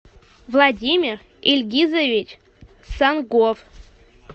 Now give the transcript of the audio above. владимир ильгизович сангов